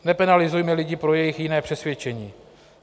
Nepenalizujme lidi pro jejich jiné přesvědčení.